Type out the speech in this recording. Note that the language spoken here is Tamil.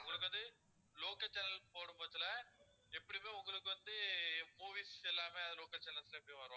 உங்களுக்கு வந்து local channel போடப்போறதுல எப்படியுமே உங்களுக்கு வந்து movies எல்லாமே அது local channels லயே அப்படி வரும்